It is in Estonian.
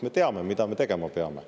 Me teame, mida me tegema peame.